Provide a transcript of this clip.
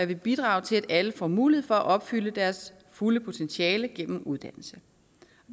vil bidrage til at alle får mulighed for at opfylde deres fulde potentiale gennem uddannelse